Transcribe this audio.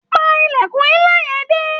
Pa ìlèkùn nla yẹn dé.